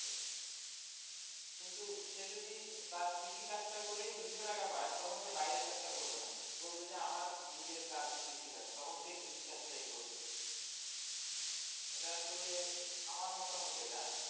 কিন্তু সে যদি তার কৃষি কাজ টা করেই দুইশো টাকা পায় তখন সে বাইরের কাজ টা করবে না বলবে যে আমার নিজের কাজ কৃষি কাজ তখন সে কৃষি কাজ তাই করবে এটা আসলে আমার মতামত এটা,